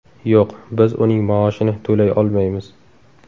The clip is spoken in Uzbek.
Yo‘q, biz uning maoshini to‘lay olmaymiz.